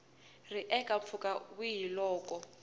ri eka mpfhuka wihi loko